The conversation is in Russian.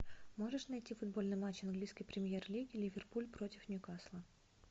можешь найти футбольный матч английской премьер лиги ливерпуль против ньюкасла